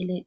ele